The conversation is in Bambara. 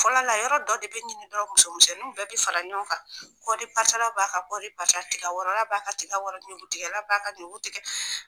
Fɔlɔ la yɔrɔ dɔ de be ɲini musomisɛnninw bɛɛ be fara ɲɔgɔn kan kɔɔri parata la b'a ka kɔɔri parata , tika wɔrɔn na b'a ka tika wɔrɔn , ɲuku tigɛla b'a ka ɲuku tigɛ.